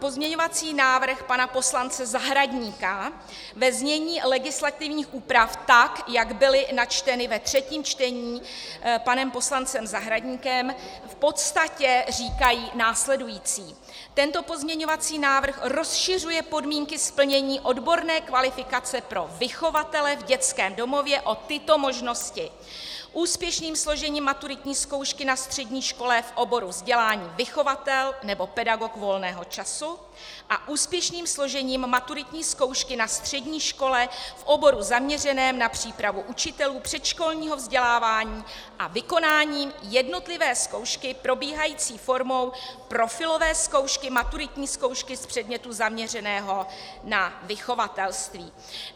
Pozměňovací návrh pana poslance Zahradníka ve znění legislativních úprav, tak jak byly načteny ve třetím čtení panem poslancem Zahradníkem, v podstatě říkají následující: Tento pozměňovací návrh rozšiřuje podmínky splnění odborné kvalifikace pro vychovatele v dětském domově o tyto možnosti: úspěšným složením maturitní zkoušky na střední škole v oboru vzdělání vychovatel nebo pedagog volného času a úspěšným složením maturitní zkoušky na střední škole v oboru zaměřeném na přípravu učitelů předškolního vzdělávání a vykonáním jednotlivé zkoušky probíhající formou profilové zkoušky, maturitní zkoušky z předmětu zaměřeného na vychovatelství.